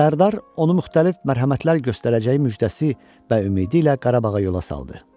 Sərdar onu müxtəlif mərhəmətlər göstərəcəyi müjdəsi və ümidilə Qarabağa yola saldı.